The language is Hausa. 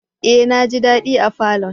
Eh! Naji dadi a falon.